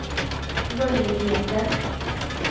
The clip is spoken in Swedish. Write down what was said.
möjligheten